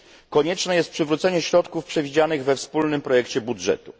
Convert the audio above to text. Konieczne jest przywrócenie środków przewidzianych we wspólnym projekcie budżetu.